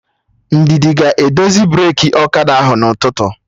Ndidi ga-edozi breki ọkada ahụ n'ụtụtụ echi